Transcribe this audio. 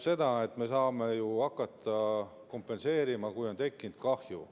Kompenseerima me saame hakata ju siis, kui on tekkinud kahju.